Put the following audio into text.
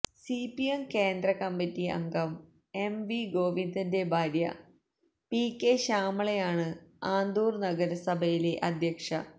CPM കേന്ദ്രകമ്മിറ്റി അംഗം M V ഗോവിന്ദന്റെ ഭാര്യ പി കെ ശ്യാമളയാണ് ആന്തൂര് നഗരസഭയിലെ അധ്യക്ഷ